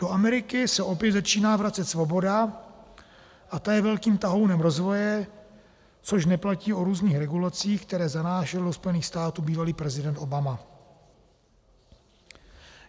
Do Ameriky se opět začíná vracet svoboda a ta je velkým tahounem rozvoje, což neplatí o různých regulacích, které zanášel do Spojených států bývalý prezident Obama.